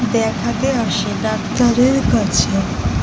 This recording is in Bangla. দেখাতে আসে ডাক্তারের কাছে।